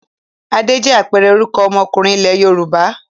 Adé jẹ́ àpẹẹrẹ orúkọ ọmọkùnrin ilẹ̀ Yorùbá.